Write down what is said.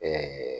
Ɛɛ